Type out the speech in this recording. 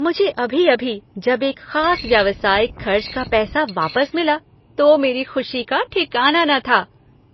मुझे अभी अभी जब एक खास व्यावसायिक खर्च का पैसा वापस मिला तो मेरी खुशी का ठिकाना न था